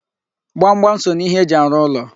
Gbamgbam so n'ihe eji arụ ụlọ.